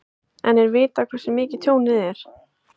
En er vitað hversu mikið tjónið er?